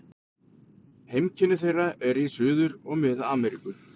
Heimkynni þeirra eru í Suður- og Mið-Ameríku.